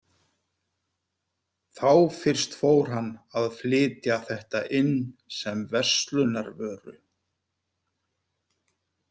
Þá fyrst fór hann að flytja þetta inn sem verslunarvöru.